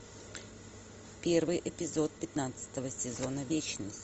первый эпизод пятнадцатого сезона вечность